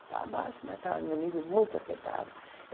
Está baixo, mas está num nível muito aceitável.